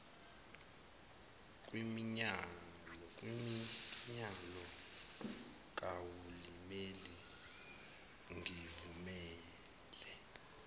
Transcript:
kwiminyano kahulimeni ngivumele